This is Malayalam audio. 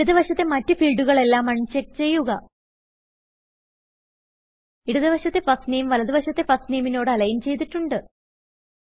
ഇടത് വശത്തെ മറ്റ് ഫീൽഡുകളെല്ലാം അൺചെക്ക് ചെയ്യുക ഇടത് വശത്തെ ഫർസ്റ്റ് നാമെ വലത് വശത്തെ ഫർസ്റ്റ് നാമെ നോട് alignചെയ്തിട്ടുണ്ട്